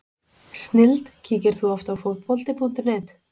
snilld Kíkir þú oft á Fótbolti.net?